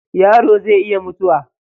Yaro zai iya mutuwa